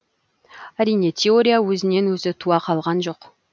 әрине теория өзінен өзі туа қалған жоқ